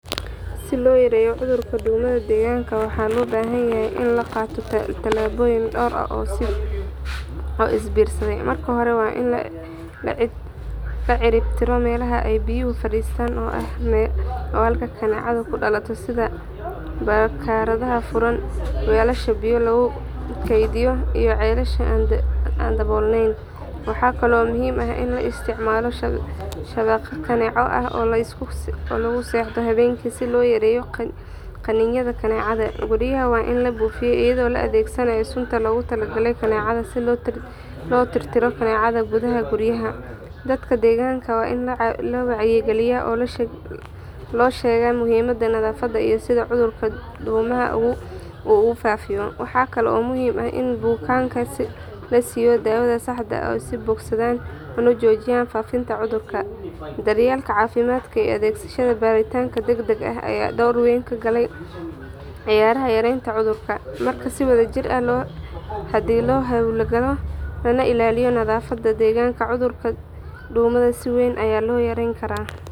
Si loo yareeyo cudurka duumada deegaanka waxaa loo baahan yahay in la qaato tallaabooyin dhowr ah oo is biirsaday. Marka hore waa in la ciribtiro meelaha ay biyuhu fariistaan oo ah halka kaneecadu ku dhalato sida barkadaha furan, weelasha biyo lagu kaydiyo iyo ceelasha aan daboolnayn. Waxaa kaloo muhiim ah in la isticmaalo shabaq kaneeco oo la isku seexdo habeenkii si loo yareeyo qaniinyada kaneecada. Guryaha waa in la buufiyo iyadoo la adeegsanayo sunta loogu talagalay kaneecada si loo tirtiro kaneecada gudaha guryaha. Dadka deegaanka waa in la wacyigeliyaa oo loo sheego muhiimadda nadaafadda iyo sida cudurka duumada uu u faafayo. Waxaa kale oo muhiim ah in bukaanada la siiyo daawada saxda ah si ay u bogsadaan una joojiyaan faafinta cudurka. Daryeelka caafimaad iyo adeegyada baaritaanka degdega ah ayaa door weyn ka ciyaara yareynta cudurka. Marka si wadajir ah haddii loo hawlgalo lana ilaaliyo nadaafadda deegaanka cudurka duumada si weyn ayaa loo yareyn karaa.